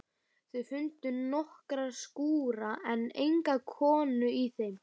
Þau fundu nokkra skúra en enga konu í þeim.